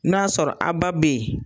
N'a y'a sɔrɔ a ba bɛ yen,